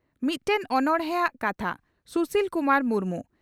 ᱢᱤᱫᱴᱮᱱ ᱚᱱᱚᱲᱦᱮᱼᱟᱜ ᱠᱟᱛᱷᱟ (ᱥᱩᱥᱤᱞ ᱠᱩᱢᱟᱨ ᱢᱩᱨᱢᱩ)